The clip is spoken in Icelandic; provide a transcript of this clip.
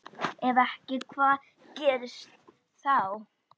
Ef ekki hvað gerist þá?